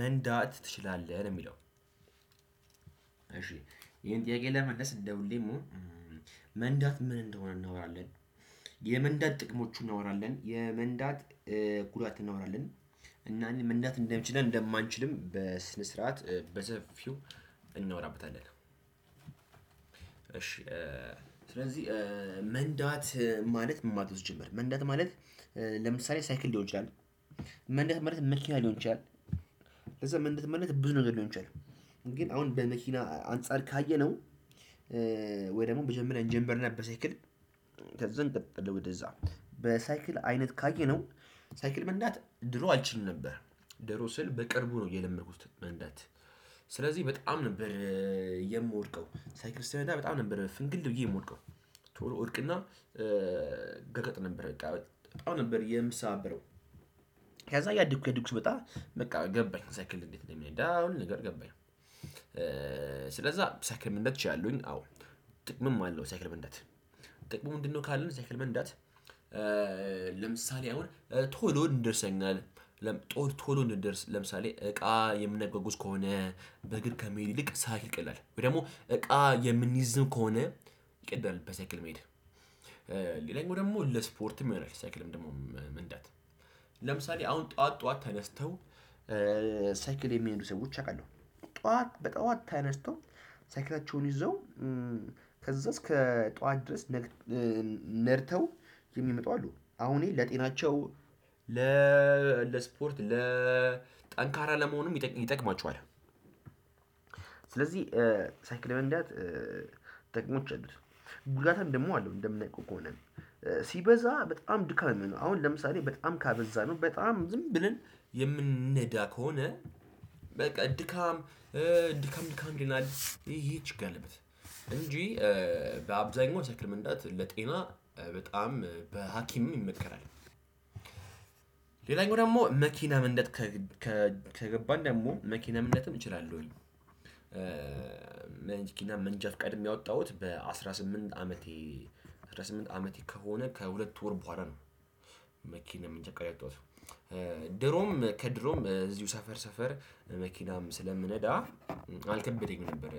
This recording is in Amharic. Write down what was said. መንዳት ትችላለህ የሚለው። እሺ ይሄን ጥያቄ ለመመለስ ደውልልኝ ደግሞ መንዳት ምን እንደሆነ እናወራለን። የመንዳት ጥቅሞቹ እናወራለን የመንዳት ጉዳት እናወራለን። እና እኔ መንዳት እንደምችል እንደማንችልም በስነ ስርዓት በሰፊው እናወራበታለን። እሺ ስለዚህ መንዳት ማለት ነው ሲጀመር መንዳት ማለት ለምሳሌ ሳይክል ሊሆን ይችላል። መንዳት ማለት መኪና ሊሆን ይችላል ምንድን ማለት ብዙ ነገር ነው የሚሆነው። ግን አሁን በመኪና አንፃር ካየነው። ወይ ደግሞ በጀመርና እንጀምርና በሳይክል ከዚህ እንቅልፍ ወደዛ በሳይክል አይነት ካየነው ሳይክል መንዳት ድሮ አልችልም ነበር። ደሮ ስል በቅርቡ ነው የለመድኩት መንዳት። ስለዚህ በጣም ነበር የምወድቀው ሳይክል ስነዳ በጣም ነበር ፍንግል ብዬ የምወድቀው። እርቅና ገቀጥ ነበር በጣም በጣም ነበር የምሳበረው። ያዛኝ እያድኩ እያድጉኩ ስመጣ በቃ ገባኝ ሳይክል እንዴት ነው የሚሄደው አሁን ነገር ገባኝ። ስለዛ ሳይክል ምንድነው? ችላለውኝ አዎ ጥቅምም አለው ሳይክል መንዳት። ጥቅም ምንድነው? ካልን ሳይክል መንዳት ለምሳሌ አሁን ቶሎ እንደርሰኛል። ጦር ቶሎ እንደርስ ለምሳሌ እቃ የምናጓጉዝ ከሆነ በእግር ከመሄድ ይልቅ ሳይክል ይቀላል ወይ ደግሞ እቃ የምንይዝም ከሆነ ይቀደል በሳቅ መሄድ። ሌላኛው ደግሞ ለስፖርትም ይሆናል ሳይክልም ደግሞ ምንድነው? ለምሳሌ አሁን ጠዋት ጠዋት ተነስተው ሳይክል የሚሄዱ ሰዎች አውቃለሁ። ጠዋት በጠዋት ተነስተው ሳይክላቸውን ይዘው ከዛ እስከ ጠዋት ድረስ ነድተው የሚመጡ አሉ አሁን ለጤናቸው ለስፖርት ለ ጠንካራ ለመሆንም ይጠቅማችኋል። ስለዚህ ሳይክል መንዳት ጥቅሞች አሉት። ጉዳትም ደግሞ አለው እንደምናቀው ከሆነ ሲበዛ በጣም ድካም ነው። አሁን ለምሳሌ በጣም ካበዛነው በጣም ዝም ብለን የምንነዳ ከሆነ በቃ ድካም ድካም ድካም ይለናል። ይሄ ችግር አለበት እንጂ በአብዛኛው ሳይክል መንዳት ለጤና በጣም በሀኪም ይመከራል። ሌላኛው ደግሞ መኪና መንዳትም ከገባን ደግሞ መኪና ምንድነትም እችላለሁኝ። መንጃ ፍቃድም ያወጣሁት በአስራ ስምንት አመቴ አስራ ስምንት አመቴ ከሆነ ከሁለት ወር በኋላ ነው። መንጃ ፍቃድ ያወጣሁት መንጃ ከድሮም እዚሁ ሰፈር ሰፈር መኪናም ስለምነዳ አልከበደኝም ነበር።